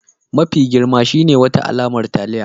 Mafi girma shine wata alamar taliya